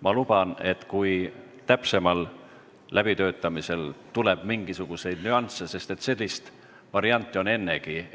Ma luban, et kui täpsemal läbitöötamisel tuleb veel mingisuguseid nüansse – sest selliseid